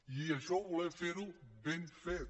i això ho volem fer ben fet